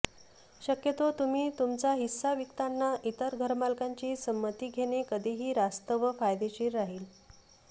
शक्यतो तुम्ही तुमचा हिस्सा विकताना इतर घरमालकांची संमती घेणे कधीही रास्त व फायदेशीर राहील